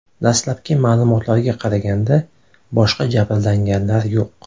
Dastlabki ma’lumotlarga qaraganda, boshqa jabrlanganlar yo‘q.